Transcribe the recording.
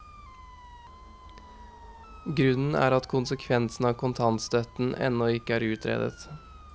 Grunnen er at konsekvensen av kontantstøtten ennå ikke er utredet.